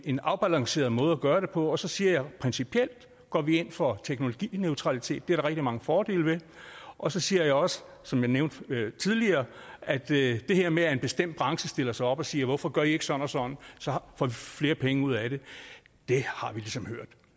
en afbalanceret måde at gøre det på og så siger jeg at principielt går vi ind for teknologineutralitet det er der rigtig mange fordele ved og så siger jeg også som jeg nævnte tidligere at det her med at en bestemt branche stiller sig op og siger hvorfor gør i ikke sådan og sådan så får vi flere penge ud af det har vi ligesom hørt